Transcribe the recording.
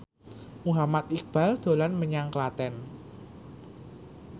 Muhammad Iqbal dolan menyang Klaten